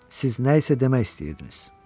Siz nə isə demək istəyirdiniz.